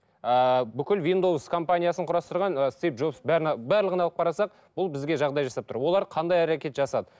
ыыы бүкіл виндоус компаниясын құрастырған ы стив джобс бәрін барлығын алып қарасақ бұл бізге жағдай жасап тұр олар қандай әрекет жасады